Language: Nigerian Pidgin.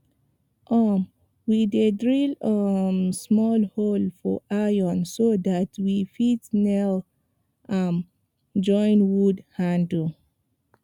um we dey drill um small hole for iron so dat we fit nail am join wood handle